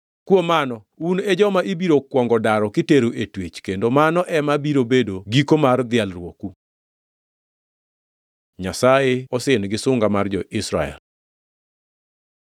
Kuom mano, un e joma ibiro kuongo daro kitero e twech, kendo mano ema biro bedo giko mar dhialruoku.” Nyasaye osin gi sunga mar jo-Israel